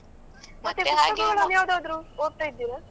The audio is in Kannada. ಮತ್ತೆ ಪುಸ್ತಕಗಳನ್ನು ಯಾವ್ದಾದ್ರು ಓದ್ತಾ ಇದ್ದೀರಾ?